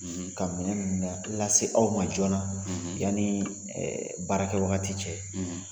Ka minɛn ninnu lase aw ma joona yanni baarakɛ wagati cɛ.